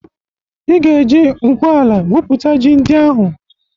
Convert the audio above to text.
Ị ga-eje ngwu ala gwupụta ji ndị ahụ!